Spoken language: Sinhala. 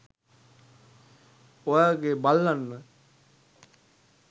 ඔය වගෙ බල්ලන්ව